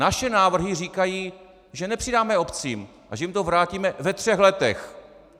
Naše návrhy říkají, že nepřidáme obcím a že jim to vrátíme ve třech letech.